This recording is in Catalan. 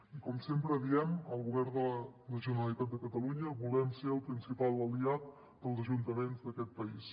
i com sempre diem el govern de la generalitat de catalunya volem ser el principal aliat dels ajuntaments d’aquest país